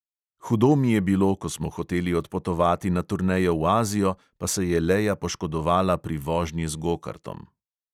Hudo mi je bilo, ko smo hoteli odpotovati na turnejo v azijo, pa se je leja poškodovala pri vožnji z gokartom.